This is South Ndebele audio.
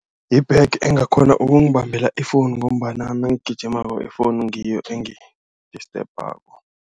Yi-bag engakghona ukungibambela i-phone ngombana nangigijimako i-phone ngiyo engidistebhako.